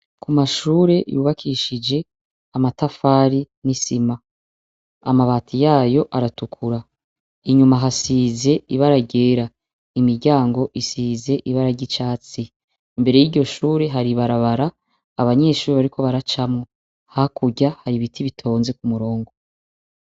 Ku mashure yubakishije amatafari n'isima, amabati yayo aratukura inyuma hasize ibara ryera, imiryango isize ibara ry'icatsi, imbere y'iryo shure hari ibarabara abanyeshuri bariko baracamwo, hakurya hari ibiti bitonze ku murongo.